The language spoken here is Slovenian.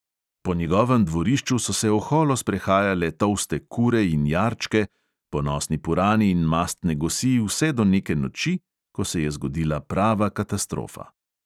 Po njegovem dvorišču so se oholo sprehajale tolste kure in jarčke, ponosni purani in mastne gosi vse do neke noči, ko se je zgodila prava katastrofa.